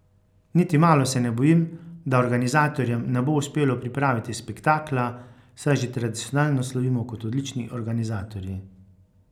Niti malo se ne bojim, da organizatorjem ne bo uspelo pripraviti spektakla, saj že tradicionalno slovimo kot odlični organizatorji.